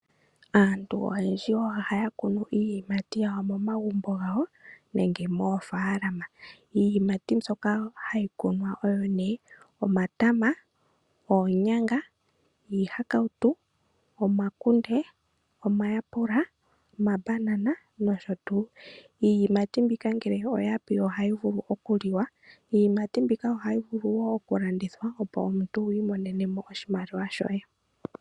Aantu oyendji ohaya kunu iiyimati yawo momagumbo gawo nenge moofalama. Iiyimati mbyoka hayi kunwa oyo nee, omatama, oonyanga, iihakautu, omakunde, omayaapula, omambanana nosho tuu. Iiyimati mbika ngele oya pi ohayi vulu oku liwa. Iiyimati mbika ohayi vulu wo oku landithwa opo omuntu wii monenemo oshimaliwa shoye.